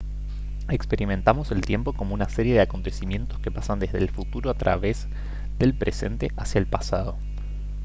experimentamos el tiempo como una serie de acontecimientos que pasan desde el futuro a través del presente hacia el pasado